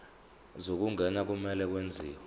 zokungena kumele kwenziwe